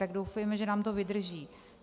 Tak doufejme, že nám to vydrží.